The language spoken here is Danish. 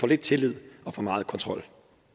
lidt tillid og for meget kontrol